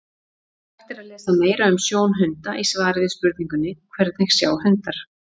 Hægt er að lesa meira um sjón hunda í svari við spurningunni Hvernig sjá hundar?